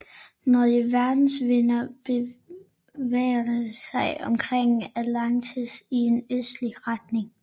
Når der er vestenvind bevæger overfladevandet sig omkring Antarktis i en østlig retning